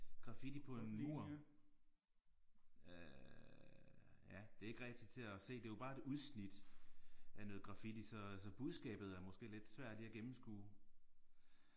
Graffiti på en mur. Øh ja det er ikke rigtig til at se det er jo bare et udsnit af noget graffiti så så budskabet er måske lidt svært lige at gennemskue